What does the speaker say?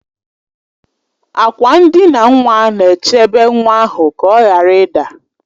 Akwa ndina nwa na-echebe nwa ahụ ka ọ ghara ịda